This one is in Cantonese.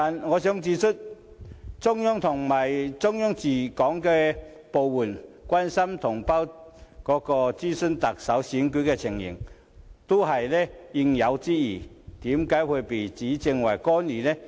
我想指出，中央和中央駐港部門關心及詢問特首選舉的情況，實屬應有之義，為何會被指為干預呢？